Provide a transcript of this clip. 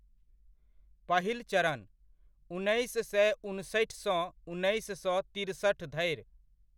पहिल चरणः उन्नैस सय उनसठि सँ उन्नैस सय तिरसठि धरि।